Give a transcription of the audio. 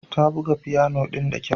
Ta buga fiyano ɗin da kyau.